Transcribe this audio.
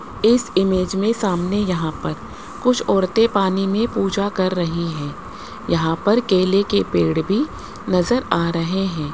इस इमेज में सामने यहां पर कुछ औरतें पानी में पूजा कर रही हैं यहां पर केले के पेड़ भी नजर आ रहे हैं।